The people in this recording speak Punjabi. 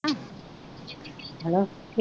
ਹੈਲੋ,